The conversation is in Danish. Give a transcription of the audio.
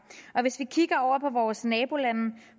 hvis vi kigger over på vores nabolande